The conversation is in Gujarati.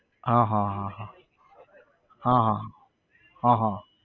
હા હા હા હા હા હા, હા હા